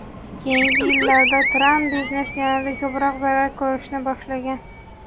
Keyingi yillarda Tramp biznesi yanada ko‘proq zarar ko‘rishni boshlagan.